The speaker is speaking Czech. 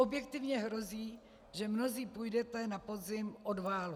Objektivně hrozí, že mnozí půjdete na podzim od válu.